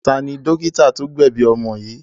Ta ni dọ́kítá tó gbẹ̀bi ọmọ yìí?